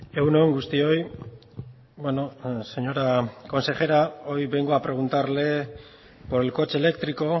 egun on guztioi señora consejera hoy vengo a preguntarle por el coche eléctrico